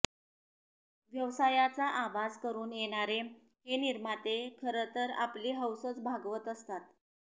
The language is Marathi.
व्यवसायाचा आभास करून येणारे हे निर्माते खरं तर आपली हौसच भागवत असतात